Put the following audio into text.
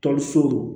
Tɔli so